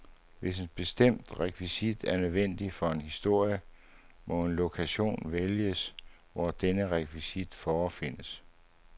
Hvis en bestemt rekvisit er nødvendig for en historie, må en lokation vælges hvor denne rekvisit forefindes.